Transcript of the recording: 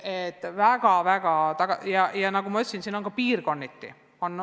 On väga erinevaid lahendusi, ka piirkonniti.